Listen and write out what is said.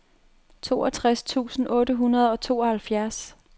toogtres tusind otte hundrede og tooghalvfjerds